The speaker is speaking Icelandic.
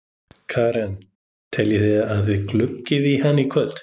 Karen: Teljið þið að þið gluggið í hann í kvöld?